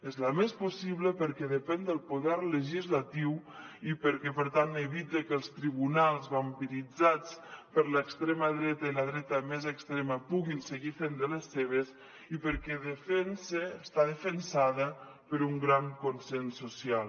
és la més possible perquè depèn del poder legislatiu i perquè per tant evita que els tribunals vampiritzats per l’extrema dreta i la dreta més extrema puguin seguir fent de les seves i perquè està defensada per un gran consens social